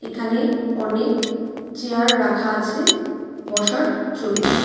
এখানে অনেক চেয়ার রাখা আছে বসার জন্য.